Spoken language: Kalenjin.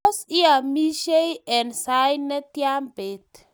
tos iamisie eng' sait netya beet?